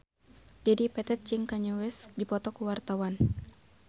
Dedi Petet jeung Kanye West keur dipoto ku wartawan